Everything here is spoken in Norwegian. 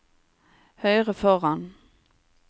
høyre foran